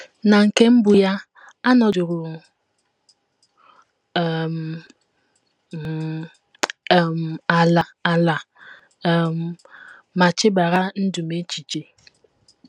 Na nke mbụ ya, anọdụrụ um m um ala ala um ma chebara ndụ m echiche.